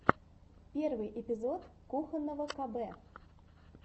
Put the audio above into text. первый эпизод кухонного кб